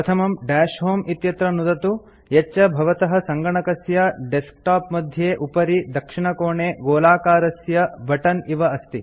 प्रथमम् दश होमे इत्यत्र नुदतु यच्च भवतः सङ्गणकस्य डेस्क्टाप् मध्ये उपरि दक्षिणकोणे गोलाकारस्य बटन् इव अस्ति